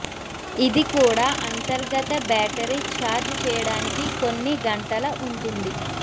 ఇది కూడా అంతర్గత బ్యాటరీ ఛార్జ్ చేయడానికి కొన్ని గంటల ఉంటుంది